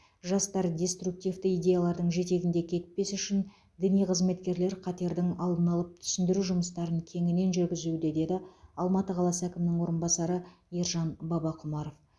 жастар деструктивті идеялардың жетегінде кетпес үшін діни қызметкерлер қатердің алдын алып түсіндіру жұмыстарын кеңінен жүргізуде деді алматы қаласы әкімінің орынбасары ержан бабақұмаров